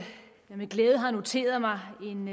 med glæde har noteret mig en